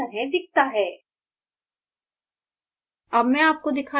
output इस तरह दिखता है